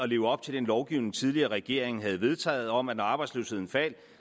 leve op til den lovgivning tidligere regering havde vedtaget om at når arbejdsløsheden faldt